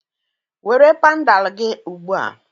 Were pandal gị ugbu a!